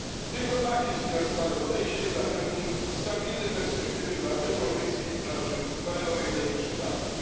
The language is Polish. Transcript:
Tylko takie zbilansowane podejście zapewni stabilne perspektywy dla europejskiej branży kolejowej w najbliższych latach.